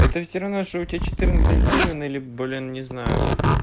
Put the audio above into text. это всё равно что у тебя четырнадцать гривен или блин не знаю